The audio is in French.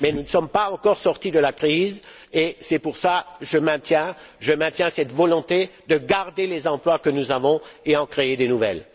Mais nous ne sommes pas encore sortis de la crise et c'est pour cette raison que je maintiens cette volonté de garder les emplois que nous avons et d'en créer de nouveaux.